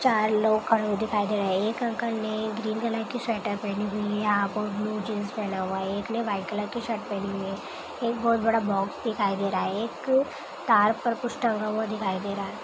चार लोग खड़े हुए दिखाई दे रहे है एक अंकल ने ग्रीन कलर की स्वेटर पहने हुई है ब्लू जीन्स पेहना हुआ है एक ने वाइट कलर का शर्ट पेहनी हुई है एक बहुत बाद बॉक्स दिखाई दे रहा है एक तार पर कुछ टंगा हुआ दिखाई दे रहे है।